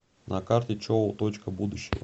на карте чоу точка будущего